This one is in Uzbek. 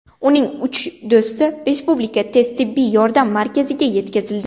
Uning uch do‘sti Respublika tez tibbiy yordam markaziga yetkazildi.